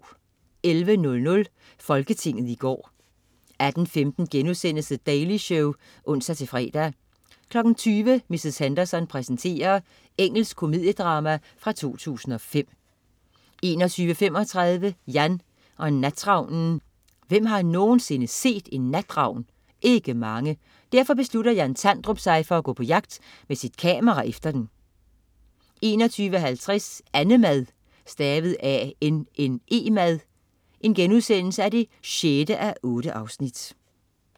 11.00 Folketinget i går 18.15 The Daily Show* (ons-fre) 20.00 Mrs. Henderson præsenterer. Engelsk komediedrama fra 2005 21.35 Jan og natravnen. Hvem har nogensinde set en natravn? Ikke mange. Derfor beslutter Jan Tandrup sig for at gå på jagt med sit kamera efter den 21.50 Annemad 6:8*